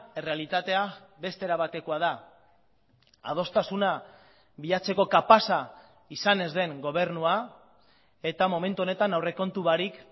errealitatea beste era batekoa da adostasuna bilatzeko kapaza izan ez den gobernua eta momentu honetan aurrekontu barik